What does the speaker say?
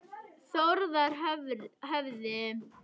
Þórðarhöfði